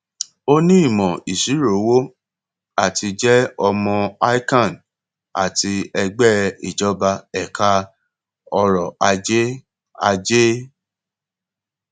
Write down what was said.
ó ní ìmò ìṣirò owó àti jẹ ọmọ ican àti ẹgbẹ ìjọba ẹka ọrò ajé ajé